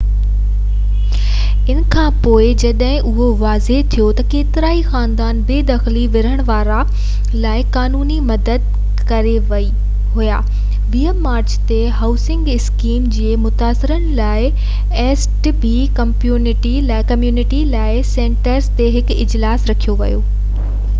ان کانپوءِ جڏهن اهو واضع ٿيو ته ڪيترائي خاندان بي دخلي خلاف وڙهڻ لاءِ قانوني مدد وٺي ڪري رهيا آهن، 20 مارچ تي هائوسنگ اسڪيم ٺڳي جي متاثرين لاءِ East Bay Community Law Centre تي هڪ اجلاس رکيو ويو هو